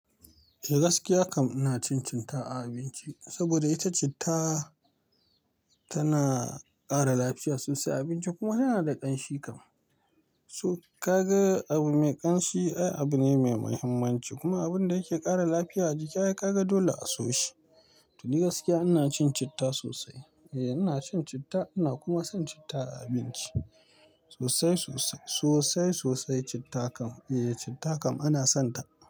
To gaskiya kam ina cin citta a abinci saboda ita citta tana ƙara lafiya sosai a abinci kuma tana da ƙanshi kam. So ka ga abu mai ƙanshi, ai abu ne mai muhimmanci kuma abun da yake ƙara lafiya a jiki ai ka ga dole a so shi. To ni gaskiya ina cin citta sosai. Eh ina cin citta ina kuma son citta a abinci sosai sosai, sosai sosai citta kam. Eh citta kam ana sonta.